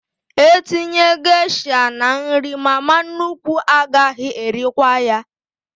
E tinye gesha n'nri, mama nnukwu agaghị erikwa ya